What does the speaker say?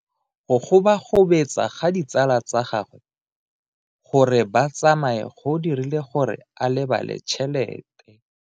Go gobagobetsa ga ditsala tsa gagwe, gore ba tsamaye go dirile gore a lebale tšhelete.